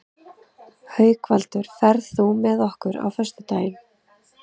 Haukvaldur, ferð þú með okkur á föstudaginn?